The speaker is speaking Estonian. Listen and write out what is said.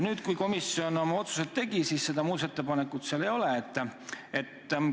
Nüüd, kui komisjon oma otsused tegi, siis seda muudatusettepanekut seal hulgas ei ole.